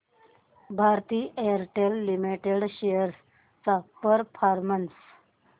Bharti Airtel limited shares चा performance